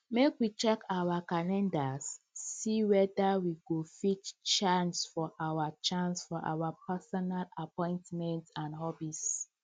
make we check our calendars see weda we get free chance for our chance for our personal appointments and hobbies